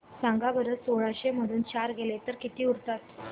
सांगा बरं सोळाशे मधून चार गेले तर किती उरतात